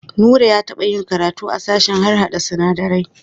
Nura ya taɓa yi karatu a sashen harhaɗa sinadarai.